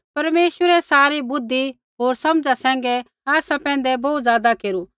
परमेश्वरै सारी बुद्धि होर समझा सैंघै आसा पैंधै बोहू ज़ादा केरू